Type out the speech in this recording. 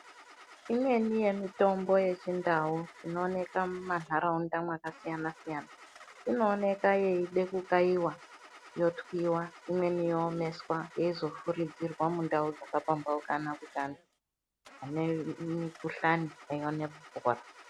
Imweni yemitombo yechindau inooneka mumanharaunda makasiyana siyana inooneka yeida kukayiwa, yotwiwa imweni yoomeswa yeizofuridzirwa mundau dzakapambaukana kuti anhu ane mikhuhlani aone kupora.